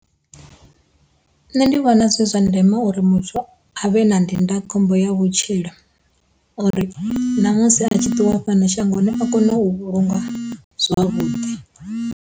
Nṋe ndi vhona zwi zwa ndeme uri muthu avhe na ndindakhombo ya vhutshilo uri na musi a tshi ṱuwa fhano shangoni a kone u vhulungwa zwavhuḓi.